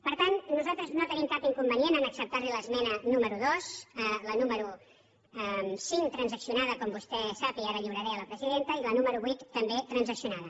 per tant nosaltres no tenim cap inconvenient a acceptar li l’esmena número dos la número cinc transaccionada com vostè sap i ara la lliuraré a la presidenta i la número vuit també transaccionada